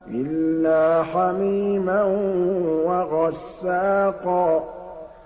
إِلَّا حَمِيمًا وَغَسَّاقًا